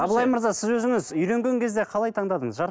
абылай мырза сіз өзіңіз үйленген кезде қалай таңдадыңыз